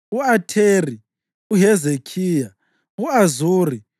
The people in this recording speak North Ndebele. u-Atheri, uHezekhiya, u-Azuri,